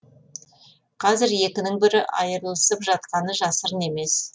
қазір екінің бірі айырылысып жатқаны жасырын емес